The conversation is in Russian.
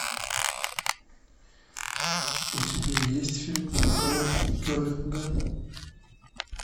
у тебя есть фильм король керлинга